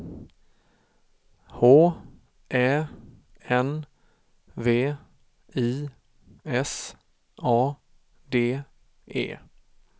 H Ä N V I S A D E